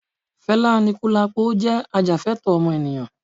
Felá Anikulapo jẹ́ ajàfẹ́tọ̀ọ́ ọmọnìyàn